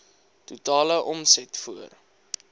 totale omset voor